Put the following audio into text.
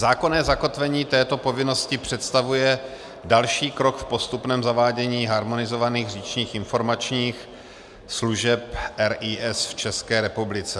Zákonné zakotvení této povinnosti představuje další krok v postupném zavádění harmonizovaných říčních informačních služeb RIS v České republice.